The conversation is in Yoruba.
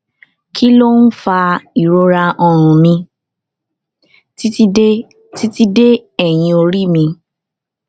kí ló ń fa ìrora ọrùn mi titi de titi de eyin ori mi